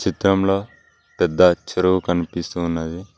చిత్రంలో పెద్ద చెరువు కనిపిస్తూ ఉన్నది.